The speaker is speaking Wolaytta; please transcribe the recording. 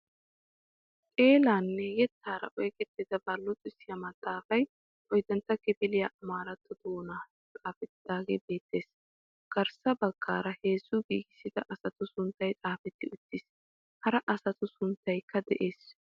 Xeelaanne yeettaara oyqqettidabaa luuxxisiyaa maaxafay ooyddantta kifiliyaa amaaratto doonan xaafettidaagee beettees. garssa baggaara heezzu giigissida asatu sunttay xaafetti uttiis. Hara asatu sunttaykka de'ees.